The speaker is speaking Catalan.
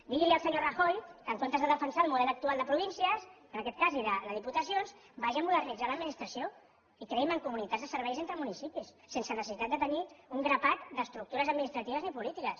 diguin li al senyor rajoy que en comptes de defensar el model actual de províncies en aquest cas i de diputacions vagi a modernitzar l’administració i creï mancomunitats de serveis entre municipis sense necessitat de tenir un grapat d’estructures administratives ni polítiques